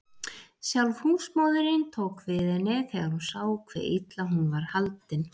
Sjálf húsmóðirin tók við henni þegar hún sá hve illa hún var haldin.